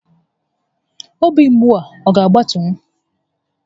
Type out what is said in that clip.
Obi mgbu a ga agbatunwu?